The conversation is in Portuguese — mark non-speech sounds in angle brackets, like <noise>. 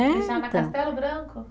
<unintelligible> Deixaram na Castelo Branco?